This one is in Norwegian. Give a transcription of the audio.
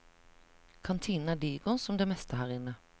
Kantinen er diger, som det meste her inne.